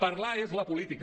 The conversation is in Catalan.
parlar és la política